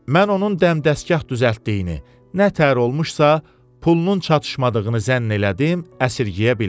Mən onun dəmdəsgah düzəltdiyini, nə təhər olmuşsa, pulunun çatışmadığını zənn elədim, əsirgəyə bilmədim.